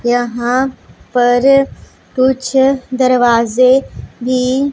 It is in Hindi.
यहां पर कुछ दरवाजे भी--